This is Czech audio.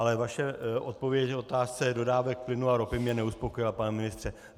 Ale vaše odpověď v otázce dodávek plynu a ropy mě neuspokojila, pane ministře.